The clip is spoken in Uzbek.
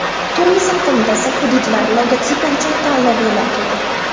Turizm qo‘mitasi hududlar logotipi uchun tanlov e’lon qildi.